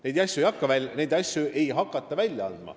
Neid asju ei hakata välja andma ega tegema.